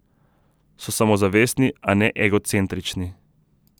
So samozavestni, a ne egocentrični.